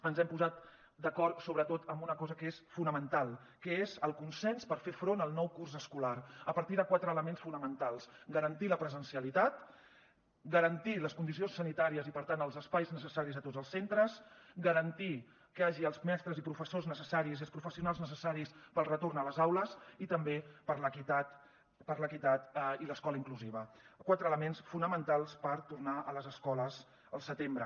ens hem posat d’acord sobretot amb una cosa que és fonamental que és el consens per fer front al nou curs escolar a partir de quatre elements fonamentals garantir la presencialitat garantir les condicions sanitàries i per tant els espais necessaris a tots els centres garantir que hi hagi els mestres i professors necessaris i els professionals necessaris per al retorn a les aules i també per l’equitat i l’escola inclusiva quatre elements fonamentals per tornar a les escoles al setembre